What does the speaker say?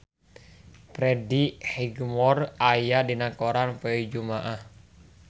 Freddie Highmore aya dina koran poe Jumaah